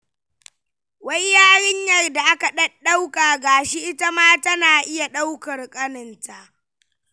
Wai yarinyar da aka ɗaɗɗauka ga shi ita ma tana iya ɗaukar ƙaninta.